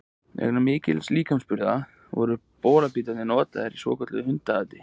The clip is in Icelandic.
Vegna mikilla líkamsburða, voru bolabítarnir notaðir í svokölluðu hundaati.